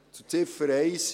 Zu Ziffer 1: